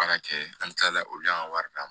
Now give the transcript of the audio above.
Baara kɛ an bɛ tila olu y'an ka wari d'an ma